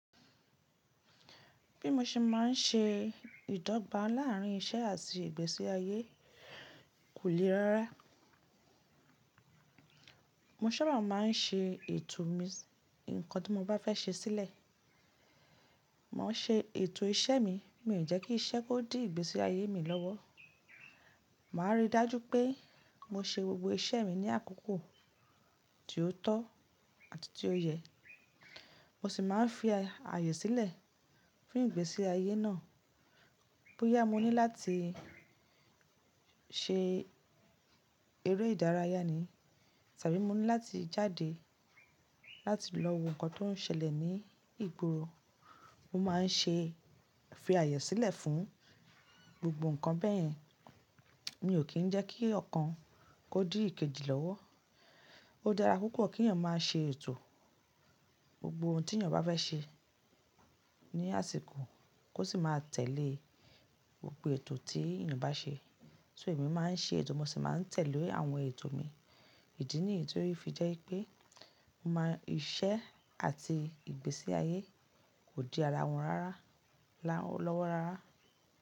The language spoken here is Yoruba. Bí mo ṣe má n ṣe ìdọ́gba láàrín iṣẹ́ àti ìgbésí ayé kò le rárá. Mo sábà má n ṣe ètò mi, ǹkan tí mo bá fẹ́ ṣe sílẹ̀, màá ṣe ètò iṣẹ́ mi, mí ò jẹ́ kí iṣẹ́ kó di ìgbésí ayé mi lọ́wọ́. Màá rí i dájú pé mo ṣe gbogbo iṣẹ́ mi ní àkókò tí ó tọ́ àti tí ó yẹ. Mo sì má n fi ààyè sílẹ̀ fún ìgbésí ayé náà. Bóyá mo ní láti ṣe eré ìdárayá ni tàbí mo ní láti jáde láti lọ wo nǹkan tó n ṣẹlẹ̀ ní ìgboro, mo má n ṣe fi ààyè sílẹ̀ fún gbogbo nǹkan bẹ́yẹn. Mi ò kí n jẹ́ kí ọ̀kan kó di ìkejì lọ́wọ́. Ó dára púpọ̀ kí ènìyàn má a ṣe ètò gbogbo ohun tí ènìyàn bá fẹ́ ṣe ní àsìkò kó sì má a tẹ̀lé gbogbo ètò tí ènìyàn bá ṣe. So èmi má n ṣe ètò, mo sì má n tẹ̀lé àwọn ètò mi. Ìdí ní ètò yìí fi jẹ́ pé mo mọ iṣẹ́ àti ìgbésí ayé kò di ara wọn rárá, lọ́wọ́ rárá.